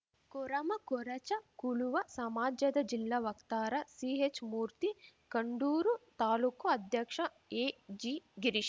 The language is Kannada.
ಕೊರಮಕೊರಚ ಕುಳುವ ಸಮಾಜದ ಜಿಲ್ಲಾ ವಕ್ತಾರ ಸಿಹೆಚ್‌ಮೂರ್ತಿ ಕಂಡೂರು ತಾಲೂಕು ಅಧ್ಯಕ್ಷ ಎಜಿಗಿರೀಶ್‌